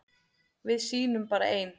Við sýnum bara ein